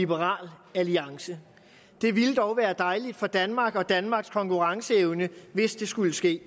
liberal alliance det ville dog være dejligt for danmark og danmarks konkurrenceevne hvis det skulle ske